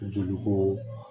Joli ko